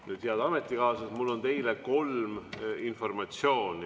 Nüüd, head ametikaaslased, mul on teile kolm informatsiooni.